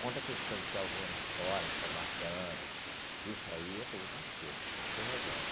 Quanto à questão de ter alguém lá fora te aguardando, isso aí é problema seu, você resolve.